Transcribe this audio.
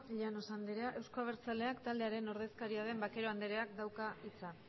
llanos andrea eusko abertzaleak taldearen ordezkaria den vaquero andereak dauka hitza